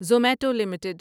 Zomato limited